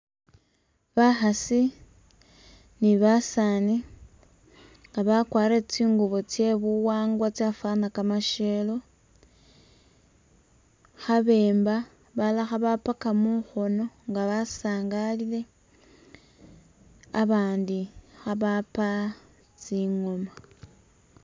Bakhasi ni basaani nga bakwarire tsingubo tsye buwangwa tsyafwana kamasyelo khabemba, bala khabapaka mukhoono nga basangalile abandi kha bapa tsingooma.